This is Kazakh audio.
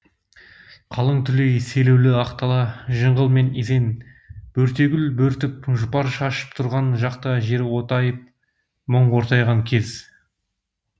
қалың түлей селеулі ақ дала жыңғыл мен изен бөртегүл бөртіп жұпар шашып тұрған жақта жер отайып мұң ортайған кез